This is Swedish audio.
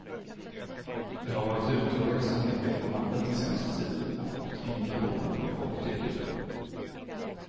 Jag har varit ute och rest en hel del i landet den senaste tiden och fått indikationer på vad folk tycker.